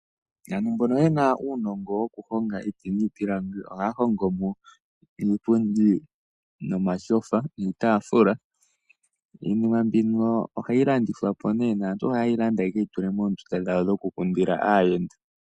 Yamwe mboka ye na uunongo wokuhonga iiti niipilangi, ohaya hongo mo iipundi nomatyofa nuutafula. Iinima mbino ohayi landithwa po nee, naantu ohaye yi landa ye keyi tule moondunda dhawo dhokukundila aayenda.